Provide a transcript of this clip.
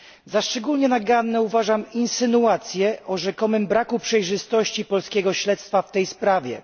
Za szczególnie naganne uważam insynuacje o rzekomym braku przejrzystości polskiego śledztwa w tej sprawie.